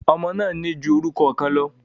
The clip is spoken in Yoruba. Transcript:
Ọmọ máa ń ní ju orúkọ kan lọ.